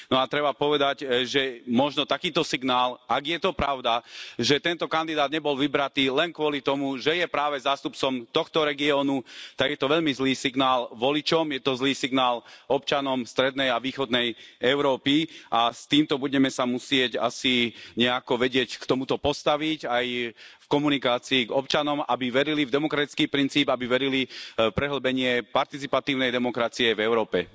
No a treba povedať, že možno takýto signál ak je to pravda, že tento kandidát nebol vybratý len kvôli tomu, že je práve zástupcom tohto regiónu, tak je to veľmi zlý signál voličom, je to zlý signál občanom strednej a východnej Európy, a s týmto sa budeme musieť asi nejako vedieť k tomuto postaviť, aj v komunikácii k občanom, aby verili v demokratický princíp, aby verili v prehĺbenie participatívnej demokracie v Európe.